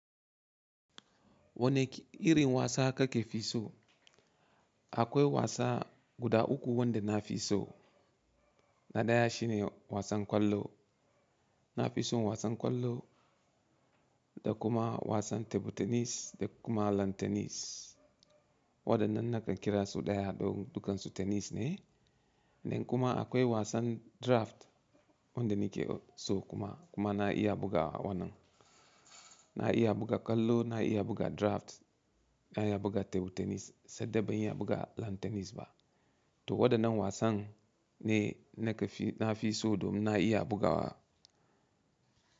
Wane irin wasa kake fi so? Akwai wasa guda uku wanda na fi so. Na ɗaya shine wasan kwallo. Na fi son wasan kwallo da kuma wasan table tenis da kuma lan tenis. Waɗannan nakan kira su ɗaya don dukansu tenis ne. Nan kuma akwai wasan draft wanda nike so kuma, kuma na iya bugawa wannan. Na iya buga kwallo, na iya buga draft, na iya buga table tenis sai dai ba iya buga lan tenis ba. To waɗannan wasan ne nake fi, na fi so domin na iya bugawa.